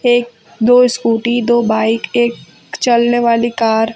एक दो स्कूटी दो बाइक एक चलने वाली कार ।